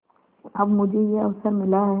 अब मुझे यह अवसर मिला है